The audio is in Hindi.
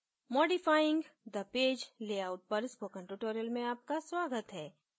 modifying the page layout पर spoken tutorial में आपका स्वागत है